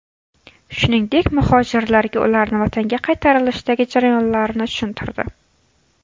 Shuningdek, muhojirlarga ularni vatanga qaytarilishdagi jarayonlarni tushuntirdi.